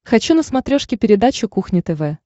хочу на смотрешке передачу кухня тв